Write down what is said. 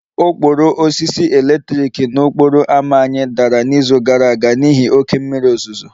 Okporo osisi eletrik n'okporo ámá anyị dara n'izu gara aga n'ihi oké mmiri ozuzo